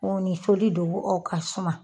ni soli don o ka suma.